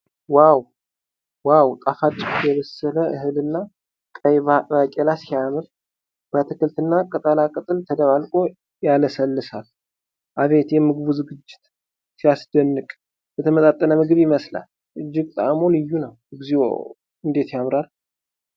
ዋው! ጣፋጭ የበሰለ እህል እና ቀይ ባቄላ ሲያምር! በአትክልት እና ቅጠላ ቅጠል ተደባልቆ ያለሰልሳል። አቤት የምግቡ ዝግጅት! ሲያስደንቅ! የተመጣጠነ ምግብ ይመስላል። እጅግ ጣዕሙ ልዩ ነው። እግዚኦ! እንዴት ያምራል!